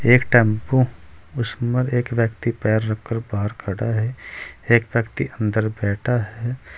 एक टेंपो उसमें एक व्यक्ति पैर रखकर बाहर खड़ा है एक व्यक्ति अंदर बैठा है।